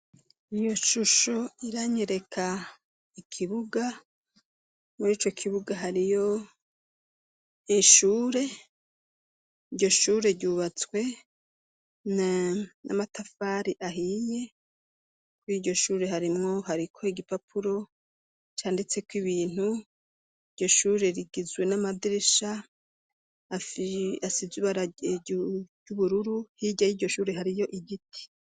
Iyo shusho iranyereka ikibuga. Muri ico kibuga hariyo ishure. Iryo shure ryubatswe n'amatafari ahiye. Kur' iryo shure harimwo... hariko igipapuro canditseko ibintu. Iryo shure rigizwe n'amadirisha asize ibara ry'ubururu. Hirya y'iryo shure hariyo igiti.